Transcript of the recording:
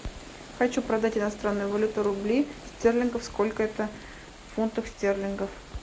хочу продать иностранную валюту рубли стерлингов сколько это фунтов стерлингов